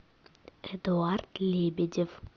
эдуард лебедев